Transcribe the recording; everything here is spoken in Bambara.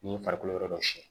Ni farikolo yɔrɔ dɔ siyɛn